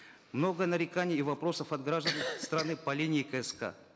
много нареканий и вопросов от граждан страны по линии кск